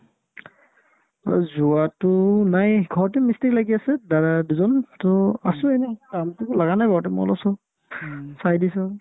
অ, যোৱাতো নাই ঘৰতে মিস্ত্ৰি লাগি আছে দাদা দুজন to আছো এনে কামততো লাগা নাই বৰ্তমান মই অলপ-চলপ চাই দিছো